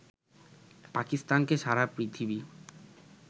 পাকিস্তানকে সারা পৃথিবী